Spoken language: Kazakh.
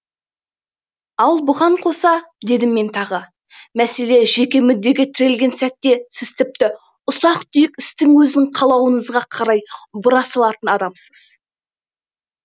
ал бұған қоса дедім мен тағы мәселе жеке мүддеге тірелген сәтте сіз тіпті ұсақ түйек істің өзін қалауыңызға қарай бұра салатын адамсыз